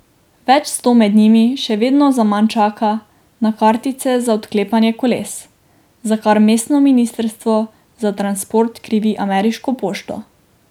Več sto med njimi še vedno zaman čaka na kartice za odklepanje koles, za kar mestno ministrstvo za transport krivi ameriško pošto.